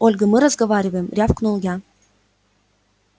ольга мы разговариваем рявкнул я